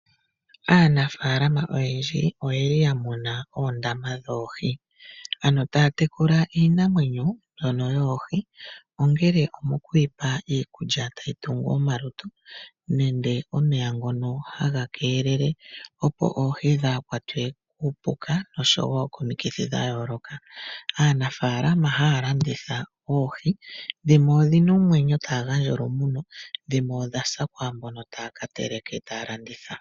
Aanafalama oyendji oye li ya muna oondama dhoohi. Ano taya tekula iinamwenyo mbyono yoohi, ongele omo ku yi pa iikulya tayi tungu omalutu nenge omeya ngono haga keelele opo oohi dhaa kwatwe kuupuka noshowo komikithi dha yooloka. Aanafalama haya landitha oohi, dhimwe odhina omwenyo taya gandja olumuno, dhimwe odha sa kwaambono taya ka teleka e taya landitha.